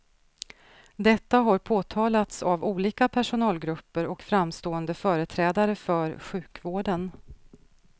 Detta har påtalats av olika personalgrupper och framstående företrädare för sjukvården.